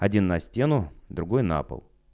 один на стену другой на пол